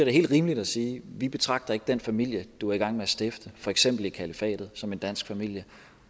er helt rimeligt at sige vi betragter ikke den familie du er i gang med at stifte for eksempel i kalifatet som en dansk familie